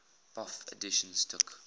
bofh editions took